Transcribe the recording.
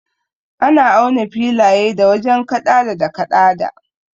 Ana auna filaye da wajen kaɗada da kaɗada.